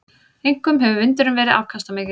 Einkum hefur vindurinn verið afkastamikill.